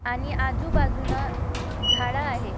आणि आजूबाजून झाड आहे.